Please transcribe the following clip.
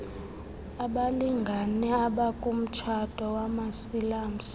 abalngane abakumtshato wamasilamsi